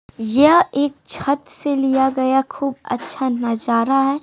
यह एक छत से लिया गया खूब अच्छा नजारा है।